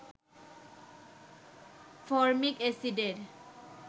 formic এসিডের